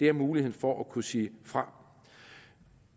er mulighed for at kunne sige fra